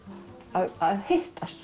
að hittast